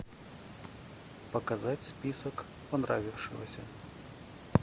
показать список понравившегося